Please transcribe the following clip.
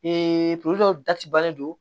Ee puru dɔw dacɛ balo